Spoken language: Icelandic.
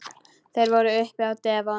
Þeir voru uppi á devon.